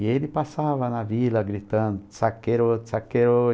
E ele passava na vila gritando, saqueiro, saqueiro.